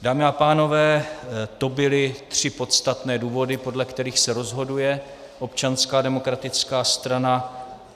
Dámy a pánové, to byly tři podstatné důvody, podle kterých se rozhoduje Občanská demokratická strana.